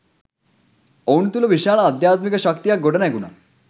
ඔවුන් තුළ විශාල අධ්‍යාත්මික ශක්තියක් ගොඩනැගුණා